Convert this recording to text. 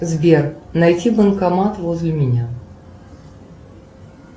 сбер найти банкомат возле меня